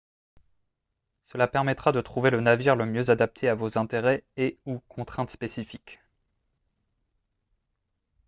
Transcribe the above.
cela permettra de trouver le navire le mieux adapté à vos intérêts et/ou contraintes spécifiques